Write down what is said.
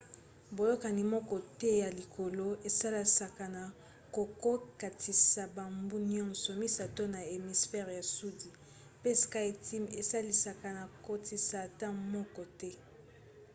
boyokani moko te ya likolo esalisaka na kokokatisa bambu nyonso misato na hémisphère ya sudi mpe skyteam esalisaka na kokatisa ata moko te